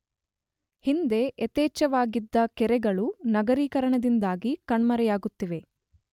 ಹಿಂದೆ ಯಥೇಚ್ಛವಾಗಿದ್ದ ಕೆರೆಗಳು ನಗರೀಕರಣದಿಂದಾಗಿ ಕಣ್ಮರೆಯಾಗುತ್ತಿವೆ.